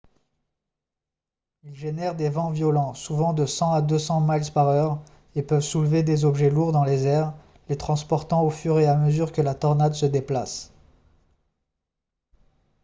ils génèrent des vents violents souvent de 100 à 200 miles/heure et peuvent soulever des objets lourds dans les airs les transportant au fur et à mesure que la tornade se déplace